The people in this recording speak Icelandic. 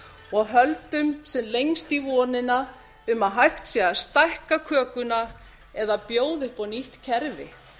og höldum sem lengst í vonina um að hægt sé að stækka kökuna eða bjóða upp á nýtt kerfi